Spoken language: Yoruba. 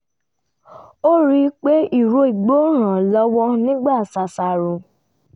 ó rí pé ìró igbó ràn án lọ́wọ́ nígbà ṣàṣàrò